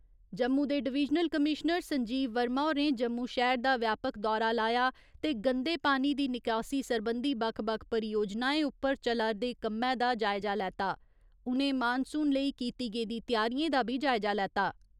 जम्मू दे divisional commissioner Sanjeev Verma होरें जम्मू शैह्‌र दा व्यापक दौरा लाया ते गंदे पानी दी निकासी सरबंधी बक्ख बक्ख परियोजनाएं उप्पर चला'रदे कम्मै दा जायजा लैता। उ'नें मानसून लेई कीती गेदी त्यारियें दा बी जायजा लैता।